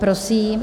Prosím.